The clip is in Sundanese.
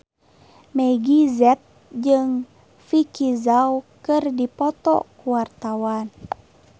Meggie Z jeung Vicki Zao keur dipoto ku wartawan